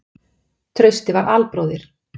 Trausti var albróðir